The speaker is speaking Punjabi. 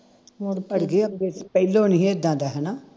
ਪਹਿਲੋਂ ਨੀ ਹੀ ਇੱਦਾਂ ਦਾ ਹਣਾ